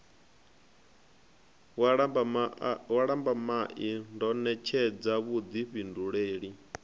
wa lambamai ndo ṋetshedza vhuḓifhindulele